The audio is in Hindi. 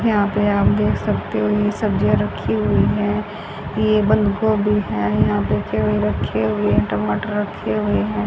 यहां पे आप देख सकते हो ये सब्जियां रखी हुई है ये बंद गोभी है यहां पे रखे हुए हैं टमाटर रखे हुए हैं।